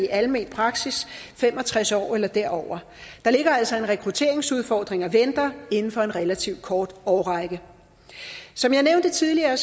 almen praksis fem og tres år eller derover der ligger altså en rekrutteringsudfordring og venter inden for en relativt kort årrække som jeg nævnte tidligere